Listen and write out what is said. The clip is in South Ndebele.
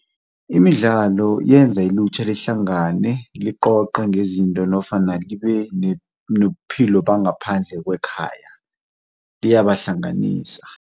Imidlalo yenza ilutjha lihlangane liqoqe ngezinto nofana libe nobuphilo bangaphandle kwekhaya, liyabahlanganisa.